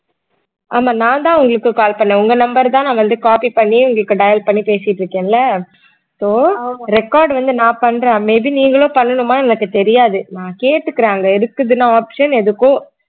ஆமா நான்தான் உங்களுக்கு call பண்ணேன் உங்க number தான் நான் வந்து copy பண்ணி உங்களுக்கு dial பண்ணி பேசிட்டு இருக்கேன்ல so record வந்து நான் பண்றேன் may be நீங்களும் பண்ணணுமா எனக்கு தெரியாது நான் கேட்டுக்குறேன் அங்க இருக்குதுன்னா option எதுக்கோ